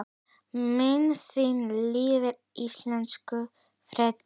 Minning þín lifir, elsku Freddi.